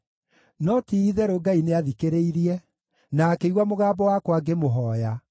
no ti-itherũ Ngai nĩathikĩrĩirie, na akĩigua mũgambo wakwa ngĩmũhooya.